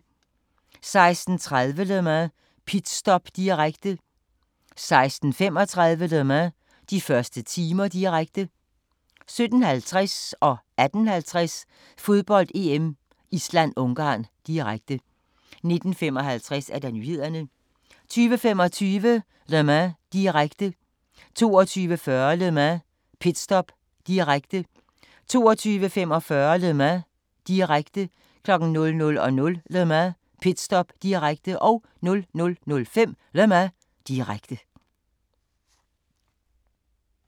16:30: Le Mans – pitstop, direkte 16:35: Le Mans – de første timer, direkte 17:50: Fodbold: EM - Island-Ungarn, direkte 18:50: Fodbold: EM - Island-Ungarn, direkte 19:55: Nyhederne 20:25: Le Mans – direkte 22:40: Le Mans – pitstop, direkte 22:45: Le Mans – direkte 00:00: Le Mans – pitstop, direkte 00:05: Le Mans, direkte